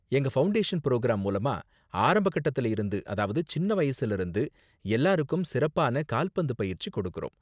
எங்க foundation programme மூலமா ஆரம்ப கட்டத்துல இருந்து அதாவது சின்ன வயசுல இருந்து எல்லாருக்கும் சிறப்பான கால்பந்து பயிற்சி கொடுக்கறோம்.